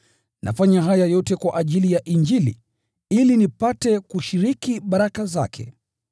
Nafanya haya yote kwa ajili ya Injili, ili nipate kushiriki baraka zake.